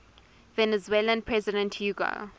venezuelan president hugo